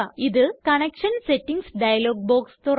ഇത് connection settings dialog box തുറക്കുന്നു